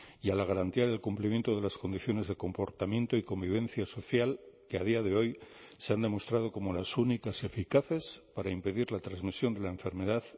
y a la garantía del cumplimiento de las condiciones de comportamiento y convivencia social que a día de hoy se han demostrado como las únicas eficaces para impedir la transmisión de la enfermedad